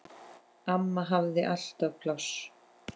Amma hafði alltaf pláss.